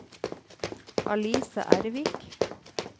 Alice Ervik